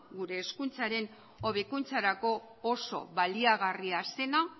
gure hezkuntzaren hobekuntzarako oso baliagarria zena